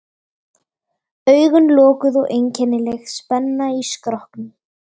Augun lokuð og einkennileg spenna í skrokknum.